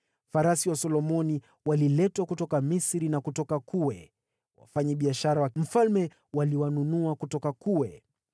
Farasi wa Solomoni waliletwa kutoka Misri na kutoka Kue. Wafanyabiashara wa mfalme waliwanunua kutoka Kue.